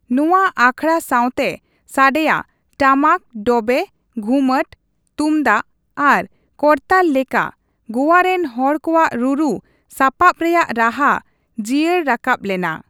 ᱱᱚᱣᱟ ᱟᱠᱷᱲᱟ ᱥᱟᱶᱛᱮ ᱥᱟᱰᱮᱭᱟ ᱴᱟᱢᱟᱠ/ᱰᱚᱵᱮ, ᱜᱷᱩᱢᱚᱴ, ᱛᱩᱢᱫᱟᱜ ᱟᱨ ᱠᱚᱨᱛᱟᱞ ᱞᱮᱠᱟ ᱜᱳᱣᱟ ᱨᱮᱱ ᱦᱚᱲ ᱠᱚᱣᱟᱜ ᱨᱩᱨᱩ ᱥᱟᱯᱟᱵᱽ ᱨᱮᱭᱟᱭ ᱨᱟᱦᱟ ᱡᱤᱭᱟᱹᱲ ᱨᱟᱠᱟᱵᱽ ᱞᱮᱱᱟ ᱾